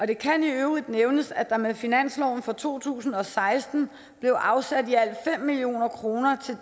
det kan i øvrigt nævnes at der med finansloven for to tusind og seksten blev afsat i alt fem million kroner